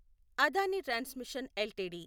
Adani transmission LTD